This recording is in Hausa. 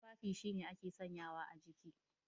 Tufafi shine ake sanyawa a jiki.